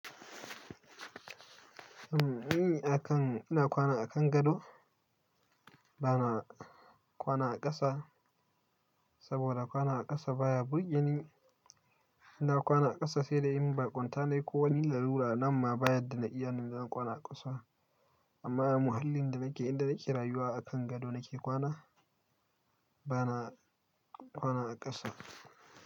Eh, ina kwana a kan gado, bana kwana a ƙasa saboda kwana a ƙasa baya burge ni. Ina kwana a ƙasa sai da in baƙunta ne ko wani larura nan ma ba yarda na iya ne na kwana a ƙasa. Amma a muhallin da nake, inda nake rayuwa a kan gado nake kwana bana kwana a ƙasa.